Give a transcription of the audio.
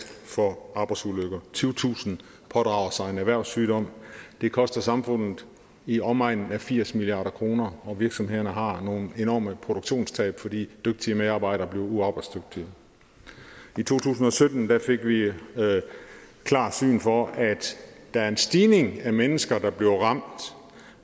for arbejdsulykker tyvetusind pådrager sig en erhvervssygdom det koster samfundet i omegnen af firs milliard kr og virksomhederne har nogle enorme produktionstab fordi dygtige medarbejdere bliver uarbejdsdygtige i to tusind og sytten fik vi klart syn for at der er en stigning i antallet af mennesker der bliver ramt